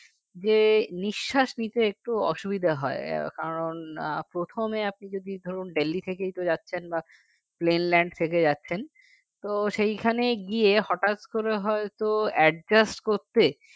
যে নিঃশ্বাস নিতে একটু অসুবিধা হয় কারও আহ প্রথমে আপনি যদি ধরুন Delhi থেকেই তো যাচ্ছেন বা plane land থেকে যাচ্ছেন তো সেইখানে গিয়ে হঠাৎ করে হয়ত adjust করতে